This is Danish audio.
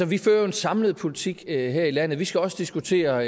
vi fører jo en samlet politik her i landet og vi skal også diskutere